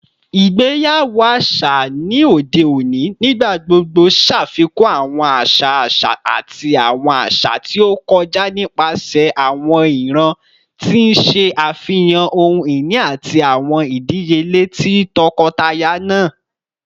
Igbeyawo aṣa ni ode oni nigbagbogbo ṣafikun awọn aṣa aṣa ati awọn aṣa ti o kọja nipasẹ awọn iran, ti n ṣe afihan ohun-ini ati awọn idiyele ti tọkọtaya naa.